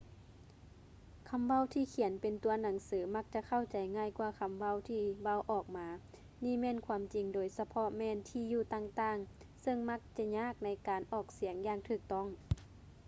ຄຳເວົ້າທີ່ຂຽນເປັນຕົວໜັງສື ມັກຈະເຂົ້າໃຈງ່າຍກ່ວາຄຳເວົ້າທີ່ເວົ້າອອກມາ ນີ້ແມ່ນຄວາມຈິງໂດຍສະເພາະແມ່ນ ທີ່ຢູ່ຕ່າງໆ ຊຶ່ງມັກຈະຍາກໃນການອອກສຽງຢ່າງຖືກຕ້ອງ